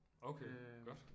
Okay godt